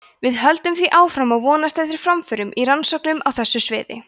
við höldum því áfram að vonast eftir framförum í rannsóknum á þessu sviði